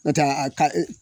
Nɔntɛ a ka e